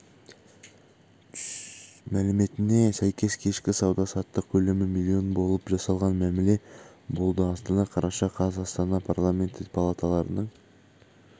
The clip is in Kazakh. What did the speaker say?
мәліметіне сәйкес кешкі сауда-саттық көлемі миллион болып жасалған мәміле болды астана қараша қаз астанада парламенті палаталарының